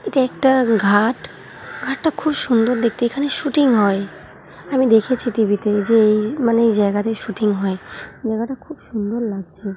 এটা একটা ঘাট ঘাট টা খুব সুন্দর দেখতে এখানে শুটিং হয় আমি দেখেছি টি .ভি তে যে মানে এই জায়গাতে শুটিং হয় জায়গাটা খুব সুন্দর লাগছে।